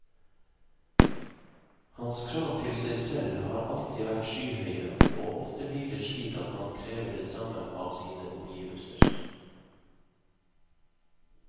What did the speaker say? Hans krav til seg selv har alltid vært skyhøye, og ofte blir det slik at man krever det samme av sine omgivelser.